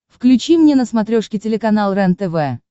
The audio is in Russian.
включи мне на смотрешке телеканал рентв